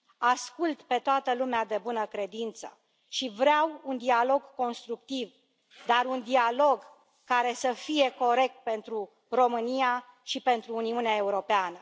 Ascult pe toată lumea de bună credință și vreau un dialog constructiv, dar un dialog care să fie corect pentru România și pentru Uniunea Europeană.